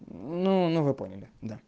ну ну вы поняли да